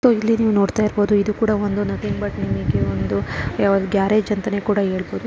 ಮತ್ತು ಇಲ್ಲಿ ನೀವು ನೋಡ್ತಾ ಇರಬಹುದು. ಇದು ಕೂಡ ಒಂದು ಗ್ಯಾರೇಜ್ ಅಂತಾನೆ ಕೂಡ ಹೇಳ್ಬಹುದು.